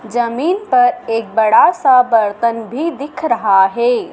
जमीन पर एक बड़ा सा बर्तन भी दिख रहा है।